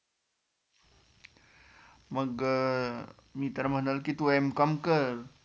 मग मी तर म्हणल की तु एम कॉम कर